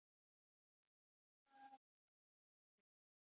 Sigurveig, hvað er á áætluninni minni í dag?